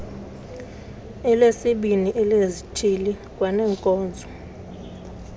elesibini elezithili kwaneenkonzo